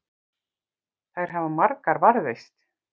Þær hafa margar varðveist.